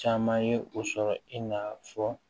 Caman ye o sɔrɔ i n'a fɔ